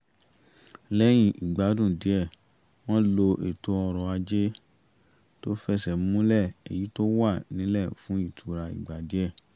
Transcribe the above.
lẹ́yìn ìpàdánù iṣẹ́ wọ́n lo ètò ọrọ̀ ajé tó fẹsẹ̀ múlẹ̀ èyí tó wà nílẹ̀ fún ìtura ìgbà díẹ̀